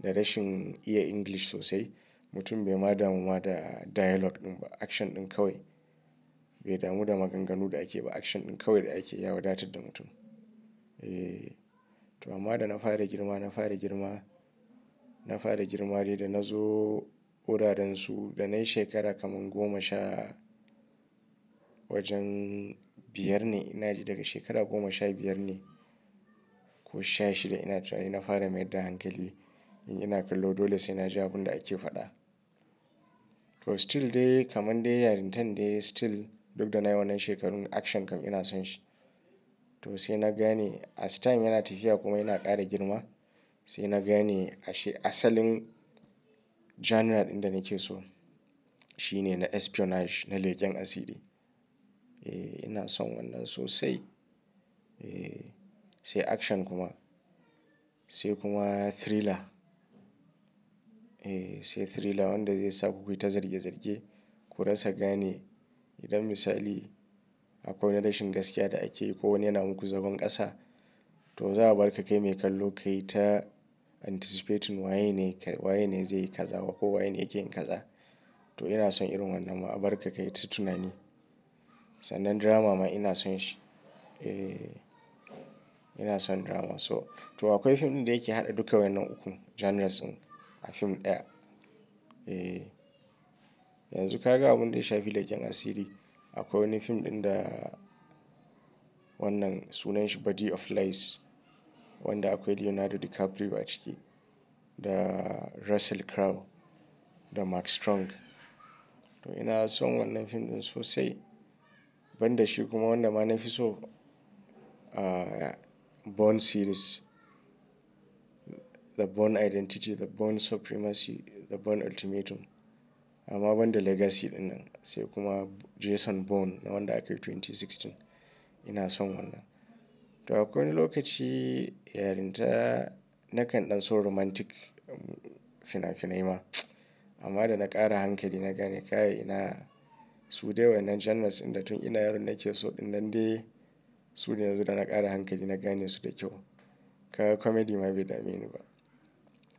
da rashin iya English sosai, mutum bai ma damu ma da dialogue ɗin ba, action ɗin kawai. Bai damu da maganganu da ake ba, action ɗin kawai da ake ya wadatar da mutum. Eh, to amma da na fara girma, na fara girma, na fara girma dai da na zo wuraransu da nai shekara kaman goma sha wajen biyar ne, ina ji daga shekara goma sha biyar ne ko sha shida ina tunani na fara mayar da hankali, in ina kallo dole sai na ji abun da ake faɗa. To still dai kaman de yarintan dai still duk da na yi wannan shekarun action kam ina son shi. To sai na gane as time yana tafiya kuma ina ƙara girma. Sai na gane ashe asalin genre ɗin da nake so shine na espionage, na leken asiri. Eh, ina son wannan sosai. Eh, sai action kuma, sai kuma thriller. Eh, sai thriller wanda zai sa ku yi ta zarge-zarge, ku rasa gane. Idan misali akwai wai rashin gaskiya da ake yi ko wani yana muku zagon ƙasa, to za a bar ka kai mai kallo kai ta anticipating wa ye ne, wa ye ne zai yi kaza ko wa yene yakeyin kaza. To ina son irin wannan ma a bar ka kai ta tunani. Sannan drama ma ina son shi. Eh, ina son drama. So to akwai fim ɗin da yake haɗa duka wannan ukun genres ɗin a fim ɗaya. Eh, yanzu ka ga abun da ya shafi leken asiri. Akwai wani fim ɗin da wannan sunan shi Body of Lies, wanda akwai Leonardo DiCaprio a ciki da Russell Crowe da Mark Strong. To ina son wannan fim ɗin sosai. Ban da shi kuma wanda ma na fi so, Bourne series. The Bourne Identity, The Bourne Supremacy, The Bourne Ultimatum. Amma ban da Legacy ɗinnan sai kuma Jason Bourne na wanda aka yi 2016. Ina son wannan. To akwai wani lokaci yarinta na kandan so romantic fina-finai ma. Amma da na ƙara hankali na gane kai ina su dai wannan genres ɗin da tun ina yaron nake so ɗinnan dai su da yanzu da na ƙara hankali na gane su da kyau. Kaga comedy ma bai dame ni ba.